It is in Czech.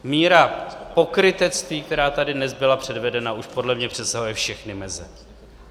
Míra pokrytectví, která tady dnes byla předvedena, už podle mě přesahuje všechny meze.